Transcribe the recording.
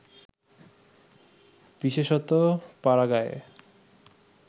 বিশেষতঃ পাড়াগাঁয়ে